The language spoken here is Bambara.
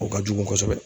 O ka jugu kosɛbɛ